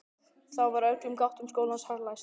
Þá var öllum gáttum skólans harðlæst.